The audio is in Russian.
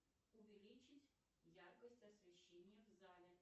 увеличить яркость освещения в зале